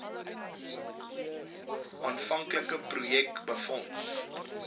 aanvanklike projek befonds